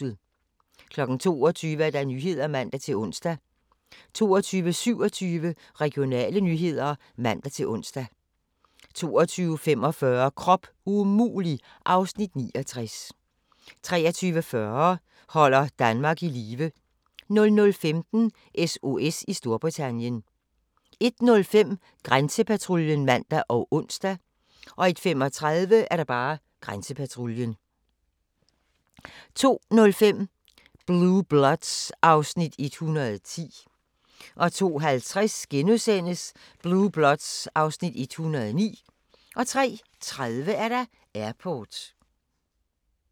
22:00: Nyhederne (man-ons) 22:27: Regionale nyheder (man-ons) 22:45: Krop umulig (Afs. 69) 23:40: Holder Danmark i live 00:15: SOS i Storbritannien 01:05: Grænsepatruljen (man og ons) 01:35: Grænsepatruljen 02:05: Blue Bloods (Afs. 110) 02:50: Blue Bloods (Afs. 109)* 03:30: Airport